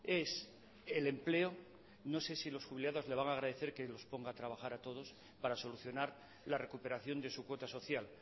es el empleo no sé si los jubilados le van a agradecer que los ponga a trabajar a todos para solucionar la recuperación de su cuota social